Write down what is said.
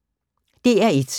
DR1